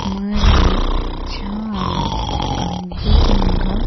మరియు చాలా అద్భుతంగా--